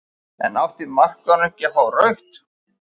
En átti markvörðurinn ekki að fá rautt?